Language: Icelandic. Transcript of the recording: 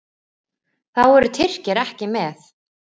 Þá eru Tyrkir ekki með.